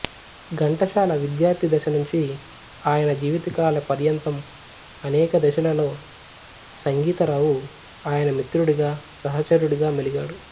ఘంటసాల విద్యార్థి దశనుంచి ఆయన జీవితకాల పర్యంతం అనేక దశలలో సంగీతరావు ఆయన మిత్రుడిగా సహచరుడిగా మెలిగాడు